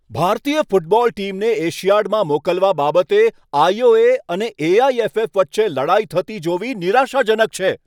ભારતીય ફૂટબોલ ટીમને એશિયાડમાં મોકલવા બાબતે આઈ.ઓ.એ. અને એ.આઈ.એફ.એફ. વચ્ચે લડાઈ થતી જોવી નિરાશાજનક છે.